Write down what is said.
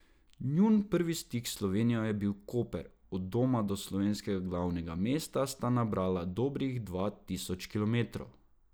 Njun prvi stik s Slovenijo je bil Koper, od doma do slovenskega glavnega mesta sta nabrala dobrih dva tisoč kilometrov.